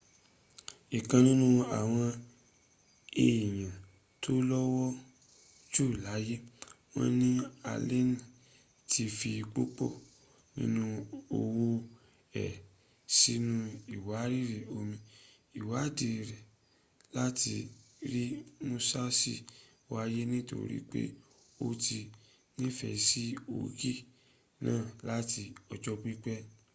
ikan ninu awon eyan to lowo ju laye won ni aleni ti fi pupo ninu owo e sinu iwariri omi iwaadi re lati ri musasi waye nitorip o ti nifesi ogin naa lati ojo pipe